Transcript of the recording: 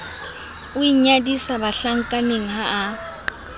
o inyadisa bahlankaneng ha a